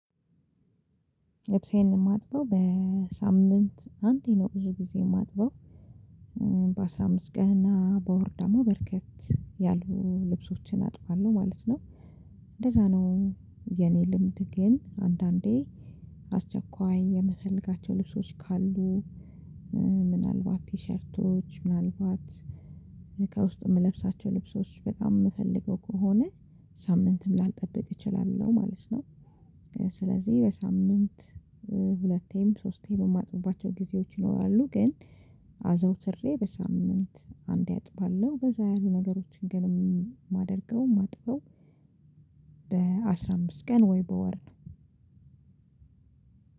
ልብሴን የማጥበው በሳምንት አንዴ ነው ብዙ ጊዜ የማጥበው። በአስራ አምስት ቀንና በወር ደግሞ በርከት ያሉ ልብሶችን አጥባለሁ ማለት ነው። እንደዛ ነው የኔ ልምድ ግን አንዳንዴ አስቸኳይ የምፈልጋቸው ልብሶች ካሉ ምናልባት 'ቲሸርቶች' ምናልባት ከውስጥ የምለብሳቸው ልብሶች በጣም የምፈልገው ከሆነ ሳምንትም ላልጠብቅ እችላለሁ ማለት ነው። ስለዚህ በሳምንት ሁለቴም ሶስቴም የማጥፉባቸው ጊዜዎች ይኖራሉ። ግን አዘውትሬ በሳምንት አንዴ አጥባለሁ። በዛ ያሉ ነገሮችን ግን የማደርገው የማጥበው በአስራ አምስት ቀን ወይ በወር ነው።